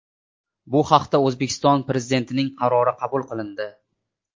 Bu haqda O‘zbekiston Prezidentining qarori qabul qilindi .